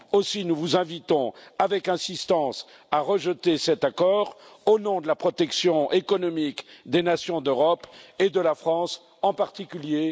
Aussi, nous vous invitons avec insistance à rejeter cet accord au nom de la protection économique des nations d'Europe, et de la France en particulier.